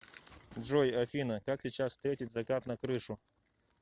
джой афина как сейчас встретить закат на крышу